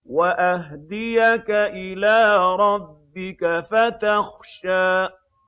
وَأَهْدِيَكَ إِلَىٰ رَبِّكَ فَتَخْشَىٰ